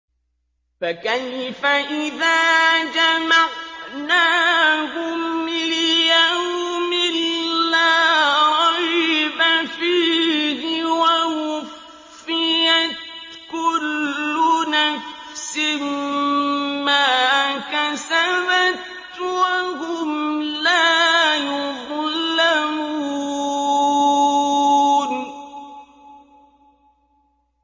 فَكَيْفَ إِذَا جَمَعْنَاهُمْ لِيَوْمٍ لَّا رَيْبَ فِيهِ وَوُفِّيَتْ كُلُّ نَفْسٍ مَّا كَسَبَتْ وَهُمْ لَا يُظْلَمُونَ